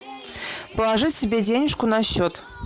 положить себе денежку на счет